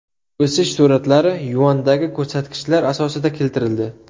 O‘sish sur’atlari yuandagi ko‘rsatkichlar asosida keltirildi.